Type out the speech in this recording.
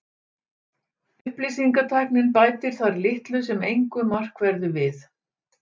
Upplýsingatæknin bætir þar litlu sem engu markverðu við.